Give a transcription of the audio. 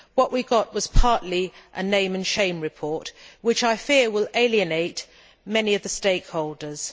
What we got was partly a name and shame report, which I fear will alienate many of the stakeholders.